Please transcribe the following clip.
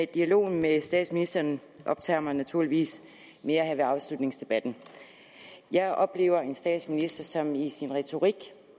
dialogen med statsministeren optager mig naturligvis mere her ved afslutningsdebatten jeg oplever en statsminister som i sin retorik